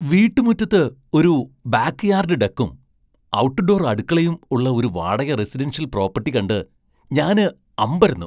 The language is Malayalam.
വീട്ടുമുറ്റത്ത് ഒരു ബാക്ക് യാർഡ് ഡെക്കും ,ഔട്ട്ഡോർ അടുക്കളയും ഉള്ള ഒരു വാടക റെസിഡൻഷ്യൽ പ്രോപ്പട്ടി കണ്ട് ഞാന് അമ്പരന്നു.